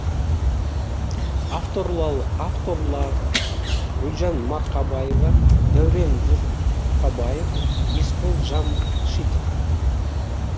авторлары гүлжан марқабаева дәурен жұрқабаев есбол жамшитов